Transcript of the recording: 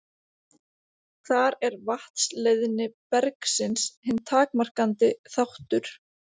Þar er vatnsleiðni bergsins hinn takmarkandi þáttur.